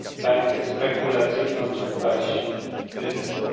bańkę spekulacyjną, czy wpaść w kryzys.